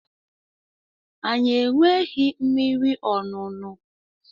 Anyị enweghị mmiri ọṅụṅụ.